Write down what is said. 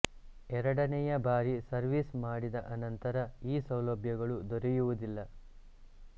ಎರಡನೆಯ ಬಾರಿ ಸರ್ವಿಸ್ ಮಾಡಿದ ಅನಂತರ ಈ ಸೌಲಭ್ಯಗಳು ದೊರೆಯುವುದಿಲ್ಲ